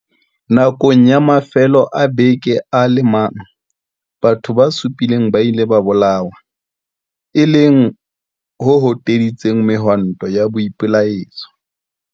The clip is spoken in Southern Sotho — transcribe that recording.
Nakong ya mafelo a beke a le mang, batho ba supileng ba ile ba bolawa, e leng ho hoteditseng mehwanto ya boipelaetso.